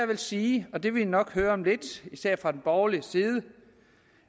vil sige og det vil man nok høre om lidt især fra borgerlig side